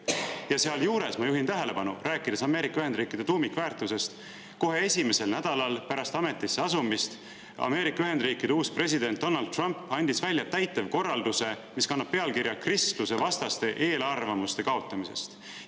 " Ja rääkides Ameerika Ühendriikide tuumikväärtustest, ma juhin tähelepanu, et kohe esimesel nädalal pärast ametisse asumist Ameerika Ühendriikide uus president Donald Trump andis välja täitevkorralduse, mis kannab pealkirja "Kristlusevastaste eelarvamuste kaotamisest".